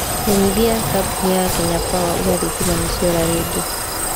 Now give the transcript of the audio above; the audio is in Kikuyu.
Menyithia kampuni ya Kenya Power uuga thitima nĩ ciora rĩngĩ